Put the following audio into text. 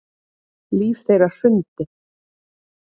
Líf þeirra hrundi